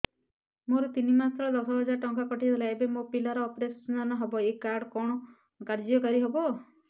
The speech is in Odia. ମୋର ତିନି ମାସ ତଳେ ଦଶ ହଜାର ଟଙ୍କା କଟି ଯାଇଥିଲା ଏବେ ମୋ ପିଲା ର ଅପେରସନ ହବ ଏ କାର୍ଡ କଣ କାର୍ଯ୍ୟ କାରି ହବ